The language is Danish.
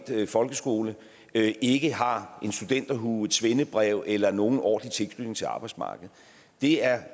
folkeskole ikke har en studenterhue et svendebrev eller nogen ordentlig tilknytning til arbejdsmarkedet er